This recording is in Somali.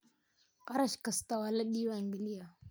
Kharash kasta waa la diiwangaliyey.